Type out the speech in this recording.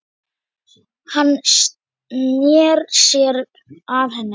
Hann sneri sér að henni.